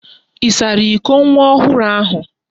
Ị sara iko nwa ohụrụ ahụ?